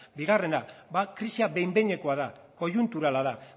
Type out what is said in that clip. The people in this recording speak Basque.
bigarrena bat krisia behin behinekoa da koiunturala da